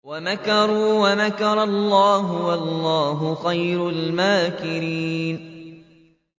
وَمَكَرُوا وَمَكَرَ اللَّهُ ۖ وَاللَّهُ خَيْرُ الْمَاكِرِينَ